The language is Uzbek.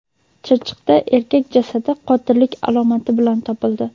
Chiroqchida erkak jasadi qotillik alomati bilan topildi.